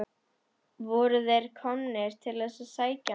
Voru þeir komnir til þess að sækja hann?